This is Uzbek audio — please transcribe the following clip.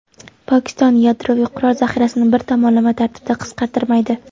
Pokiston yadroviy qurol zaxirasini bir tomonlama tartibda qisqartirmaydi.